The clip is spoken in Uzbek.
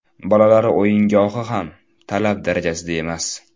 Bolalar o‘yingohi ham talab darajasida emas.